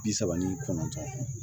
Bi saba ni kɔnɔntɔn